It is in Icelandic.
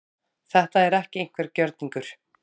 Þetta er ekki einhver gjörningur